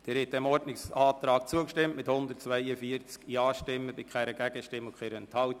Sie haben dem Ordnungsantrag zugestimmt mit 142 Ja-Stimmen, ohne Gegenstimmen und Enthaltungen.